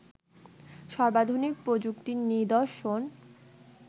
সর্বাধুনিক প্রযুক্তির নিদর্শন